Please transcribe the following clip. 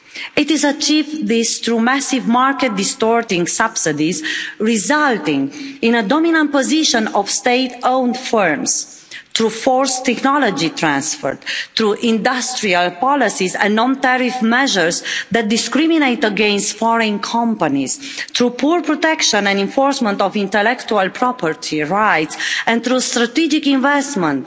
It has achieved this through massive market distorting subsidies, resulting in a dominant position of state owned firms through forced technology transfer, industrial policies and non tariff measures that discriminate against foreign companies, through poor protection and enforcement of intellectual property rights, and through strategic investment